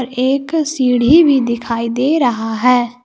एक सीढ़ी भी दिखाई दे रहा है।